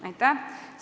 Aitäh!